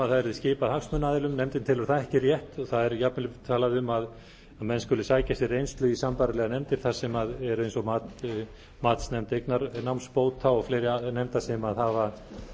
yrði skipað hagsmunaaðilum nefndin telur það ekki rétt það er jafnvel talað um að menn skuli sækja sér reynslu í sambærilegar nefndir eins og matsnefnd eignarnámsbóta og fleiri nefndir sem hafa